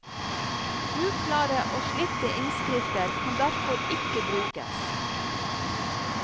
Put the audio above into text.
Uklare og slitte innskrifter kan derfor ikke brukes.